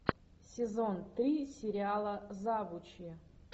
сезон три сериала завучи